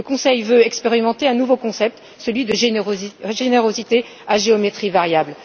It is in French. Le Conseil veut expérimenter un nouveau concept, celui de la générosité à géométrie variable.